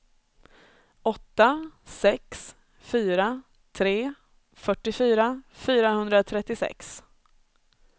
åtta sex fyra tre fyrtiofyra fyrahundratrettiosex